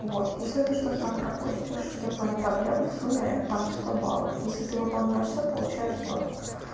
вот если это что-то там пропустишь это твои проблемы в сумме там сто баллов если ты выполняешь всё получаешь сотку